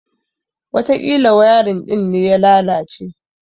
Watakila wayarin din ne ya lalace.